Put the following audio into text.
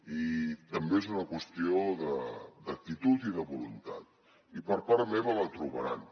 i també és una qüestió d’actitud i de voluntat i per part meva la trobaran